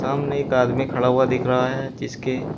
सामने एक आदमी खड़ा हुआ दिख रहा है जिसके।